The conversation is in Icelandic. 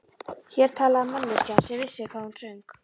Hér talaði manneskja sem vissi hvað hún söng.